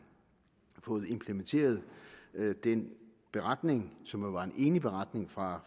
har fået implementeret den beretning som jo var en enig beretning fra